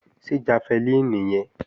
Ṣé jafẹlíìnì nìyẹn?